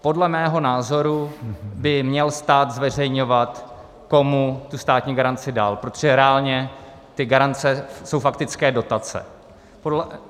Podle mého názoru by měl stát zveřejňovat, komu tu státní garanci dal, protože reálně ty garance jsou faktické dotace.